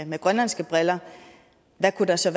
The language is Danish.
med grønlandske briller hvad kunne der så